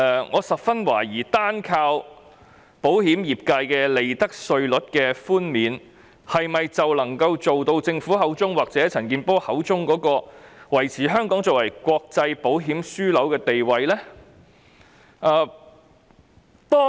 我十分懷疑單靠保險業界的利得稅寬免，是否便能夠做到政府或陳健波議員所說的，維持香港作為國際保險樞紐？